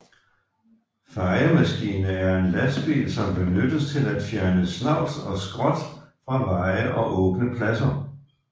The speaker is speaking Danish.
Fejemaskine er en lastbil som benyttes til at fjerne snavs og skrot fra veje og åbne pladser